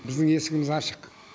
біздің есігіміз ашық